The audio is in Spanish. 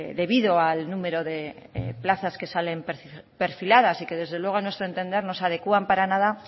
debido al número de plazas que salen perfiladas y que desde luego a nuestro entender no se adecúan para nada